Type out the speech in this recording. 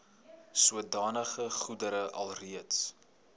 sodanige goedere alreeds